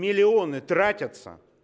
миллионы тратятся